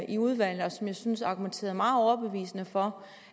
i udvalget og som jeg syntes argumenterede meget overbevisende for